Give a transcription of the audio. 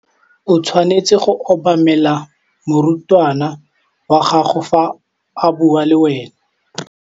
O tshwanetse go obamela morutabana wa gago fa a bua le wena.